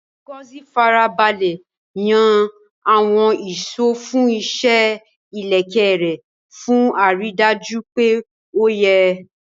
Ngozi Farabalẹ̀ yan àwọn ìṣó fún iṣẹ́ ìlẹ̀kẹ̀ rẹ̀ fún àrídájú pé ó yẹ.